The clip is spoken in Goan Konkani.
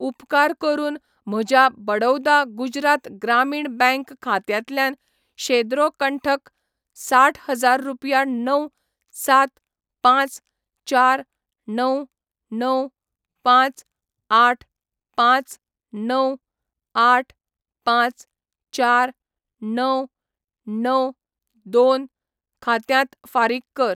उपकार करून म्हज्या बडौदा गुजरात ग्रामीण बँक खात्यांतल्यान शेद्रो कंठक क साठ हजार रुपया णव, सात, पांच, चार, णव, णव, पांच, आठ, पांच, णव, आठ, पांच, चार, णव, णव, दोन खात्यांत फारीक कर.